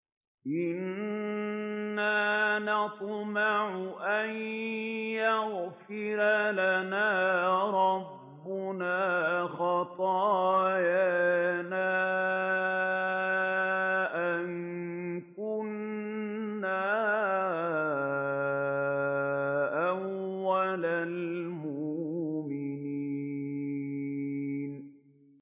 إِنَّا نَطْمَعُ أَن يَغْفِرَ لَنَا رَبُّنَا خَطَايَانَا أَن كُنَّا أَوَّلَ الْمُؤْمِنِينَ